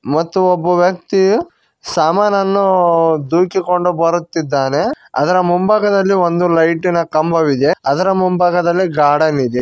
ಮತ್ತು ಒಬ್ಬ ವ್ಯಕ್ತಿ ಸಾಮಾನನ್ನು ದುಖಿಕೊಂಡು ಬರುತ್ತಿದ್ದಾನೆ ಅದರ ಮುಂಭಾಗದಲ್ಲಿ ಒಂದು ಲೈಟಿನ ಕಂಬವಿದೆ ಅದರ ಮುಂಭಾಗದಲ್ಲಿ ಗಾರ್ಡನ್ ಇದೆ.